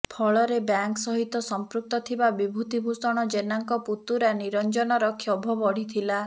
ଫଳରେ ବ୍ୟାଙ୍କ ସହିତ ସଂପୃକ୍ତ ଥିବା ବିଭୁତି ଭୂଷଣ ଜେନାଙ୍କ ପୁତୁରା ନିରଞ୍ଜନର କ୍ଷୋଭ ବଢିଥିଲା